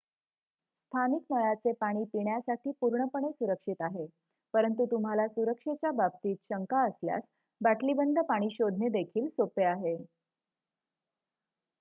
स्थानिक नळाचे पाणी पिण्यासाठी पूर्णपणे सुरक्षित आहे परंतु तुम्हाला सुरक्षेच्या बाबतीत शंका असल्यास बाटलीबंद पाणी शोधणे देखील सोपे आहे